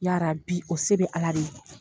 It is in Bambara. Yaarabi o se bɛ ala de ye.